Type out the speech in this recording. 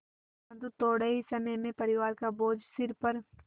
परन्तु थोडे़ ही समय में परिवार का बोझ सिर पर